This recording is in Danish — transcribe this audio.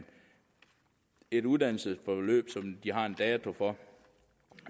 et uddannelsesforløb som de har en dato for